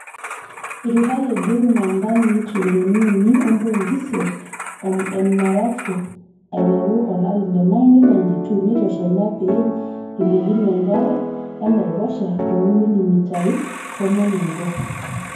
Eiturayie Greenland ntanii trillioni uni ompointi isiet emnarafu aiteru olari le 1992,neitosha ina pee eilepunye enkare enaiposha too milimitai tomon oobo.